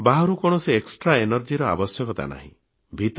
ବାହାରୁ କୌଣସି extra energy ବା ବାହ୍ୟ ଶକ୍ତିର ଆବଶ୍ୟକତା ନାହିଁ